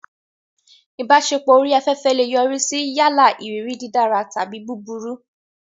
Ìbáṣepọ̀ orí afẹ́fẹ́ lè yọrí sí yálà ìrírí dídára tàbí búburú.